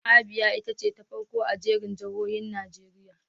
Abia ita ce ta farko a jerin jihohin Najeriya.